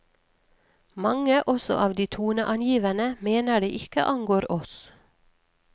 Mange, også av de toneangivende, mener det ikke angår oss.